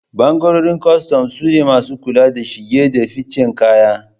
bangaren kostom sune masu kula da shige da ficen kaya